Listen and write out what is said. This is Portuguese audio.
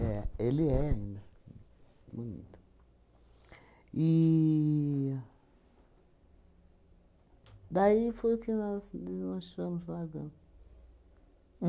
É, ele é ainda. Bonito. E... Daí foi que nós desmanchamos largamos.